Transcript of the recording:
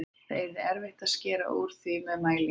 Það yrði erfitt að skera úr því með mælingu.